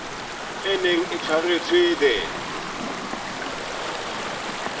e neng e tshwaretswe the